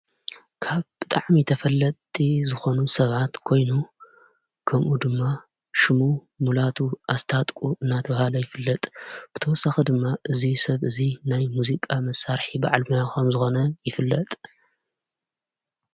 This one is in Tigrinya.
ካብ ብጥዓሚ ተፈለቲ ዝኾኑ ሰብዓት ኮይኑ ከምኡ ድማ ሽሙ ሙላቱ ኣስታጥቁ እናተውሃለ ይፍለጥ ብተወሳኺ ድማ እዙይ ሰብ እዙይ ናይ ሙዚቃ መሳርሒ በዓል ሞያ ከም ዝኾነ ይፍለጥ።